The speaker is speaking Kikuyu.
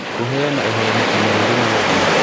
Kũheana ũhoro mũkinyanĩru na wa ma